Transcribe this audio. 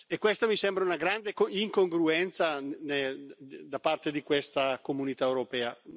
E questa mi sembra una grande incongruenza da parte di questa Comunità europea.